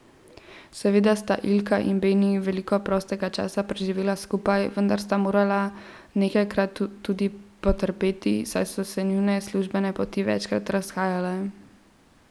Seveda sta Ilka in Beni veliko prostega časa preživela skupaj, vendar sta morala nekajkrat tudi potrpeti, saj so se njune službene poti večkrat razhajale.